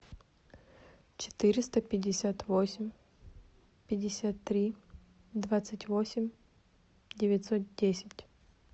четыреста пятьдесят восемь пятьдесят три двадцать восемь девятьсот десять